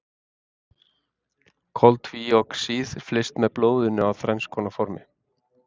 Koltvíoxíð flyst með blóðinu á þrenns konar formi.